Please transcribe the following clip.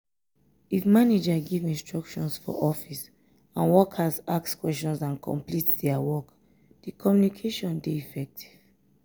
if manager give instructions for office and workers ask questions and complete their work di communication de effective